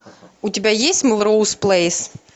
у тебя есть мелроуз плэйс